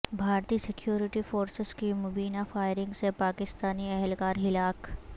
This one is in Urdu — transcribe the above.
بھارتی سکیورٹی فورسز کی مبینہ فائرنگ سے پاکستانی اہلکار ہلاک